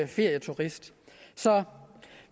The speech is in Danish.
ferieturist så